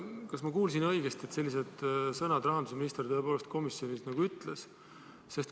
Kas ma kuulsin õigesti, et sellised sõnad rahandusminister tõepoolest komisjonis ütles?